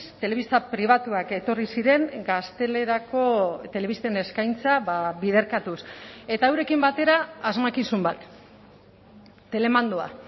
telebista pribatuak etorri ziren gaztelerako telebisten eskaintza biderkatuz eta eurekin batera asmakizun bat telemandoa